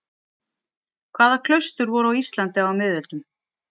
Hvaða klaustur voru á Íslandi á miðöldum?